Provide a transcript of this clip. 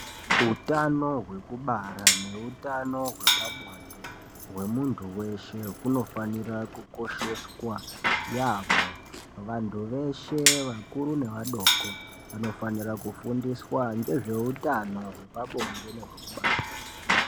Utano hwekubara neutano hwepabonde hwemuntu weshe hunofanira kukosheswa yambo vantu veshe vakuru nevadoko vanofanira kufundiswa ngezveutano hwepabonde nehwekubara.